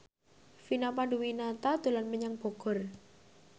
Vina Panduwinata dolan menyang Bogor